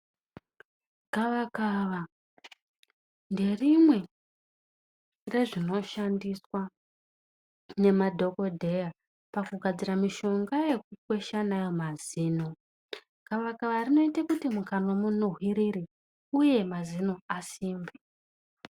Gavakava nderimwe rezvinoshandiswa nemadhokoteya pakugadzira mishonga yekukwesha ndiyo mazino. Gavakava rinoite mukanwa munhuwirire uye mazino asimbe.